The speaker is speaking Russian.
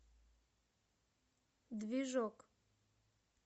движок